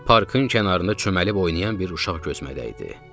Birdən parkın kənarında çömbəlib oynayan bir uşaq gözümə dəydi.